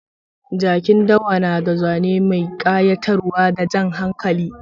Jakin dawa na da zane mai kayatarwa da jan hankali.